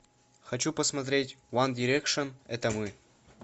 хочу посмотреть ван дирекшен это мы